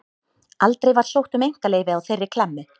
Aldrei var sótt um einkaleyfi á þeirri klemmu.